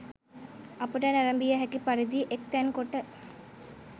අපට නැරඹිය හැකි පරිදි එක්තැන් කොට